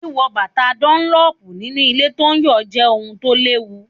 Wíwo bàtà dúnlọ́pù nínú ilẹ̀ tó ń yọ̀ jẹ́ ohun tó léwu.